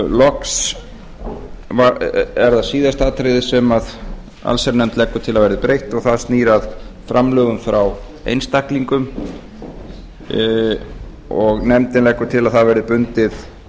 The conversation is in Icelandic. loks er það síðasta atriðið sem allsherjarnefnd leggur til að verði breytt og það snýr að framlögum frá einstaklingum nefndin leggur til að það verði bundið